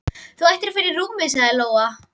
Þú ættir að fara í rúmið, sagði Lóa.